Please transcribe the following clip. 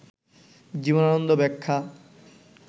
জীবনানন্দ ব্যাখ্যা